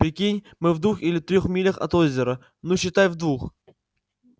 прикинь мы в двух или трёх милях от озера ну считай в двух